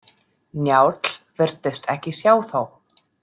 Njáll virtist ekki sjá þá.